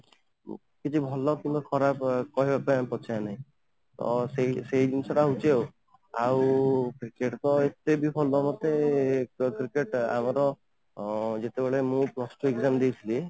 କିଛି ଭଲ କିମ୍ବା ଖରାପ କହିବା ପାଇଁ ଆମେ ପଛେଇବାନି ତ ସେଇ ସେଇ ଜିନିଷ ଟା ହଉଛି ଆଉ cricket ତ ଏତେ ବି ଭଲ ମତେ ତ cricket ଆମର ଅଂ ଯେତେବେଳେ ମୁଁ plus two exam ଦେଇଥିଲି